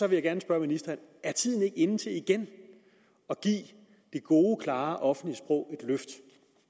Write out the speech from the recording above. jeg gerne spørge ministeren er tiden ikke inde til igen at give det gode klare offentlige sprog et løft